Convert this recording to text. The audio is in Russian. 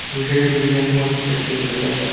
неужели вы меня сможете так сильно бояться